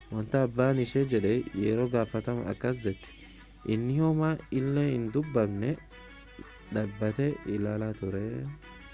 wanta abbaan ishee jedhe yeroo gaafatanu akkas jette inni homaa illee hin dubbanne dhaabbatee ilaalaa ture